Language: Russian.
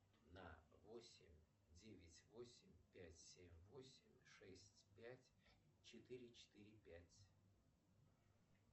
на восемь девять восемь пять семь восемь шесть пять четыре четыре пять